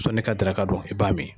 Fo ne ka daraka dun i b'a min.